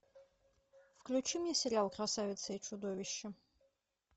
включи мне сериал красавица и чудовище